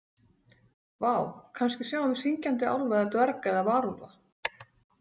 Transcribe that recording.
Vá, kannski sjáum við syngjandi álfa eða dverga eða varúlfa.